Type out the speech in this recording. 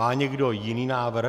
Má někdo jiný návrh?